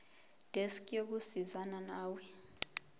desk yokusizana nawe